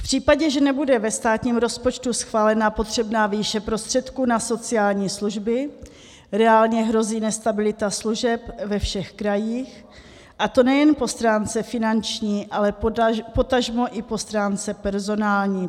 V případě, že nebude ve státním rozpočtu schválena potřebná výše prostředků na sociální služby, reálně hrozí nestabilita služeb ve všech krajích, a to nejen po stránce finanční, ale potažmo i po stránce personální.